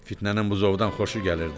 Fitnənin buzovdan xoşu gəlirdi.